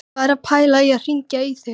Ég var að pæla í að hringja í þig.